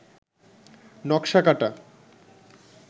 নকশা কাটা